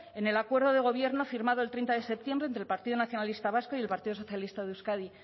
en el acuerdo de gobierno firmado el treinta de septiembre entre el partido nacionalista vasco y el partido socialista de euskadi